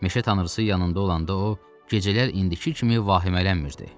Meşə tanrısı yanında olanda o, gecələr indiki kimi vahimələnmirdi.